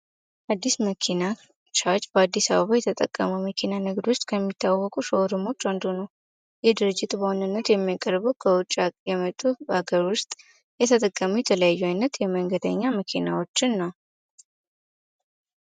አዲስ መኪና ቻች በአዲስ አባ የተጠቀመ መኪና ንግድ ውስጥ ከሚታወወቁ ሾወርሞች አንዱ ነው ይህ ድርጅት በሆንነት የሚያቀርበው ከውጪ የመጡ ሀገር ውስጥ የተጠቀሙ የተለያዩ አይነት የመንገደኛ መኪናዎችን ነው።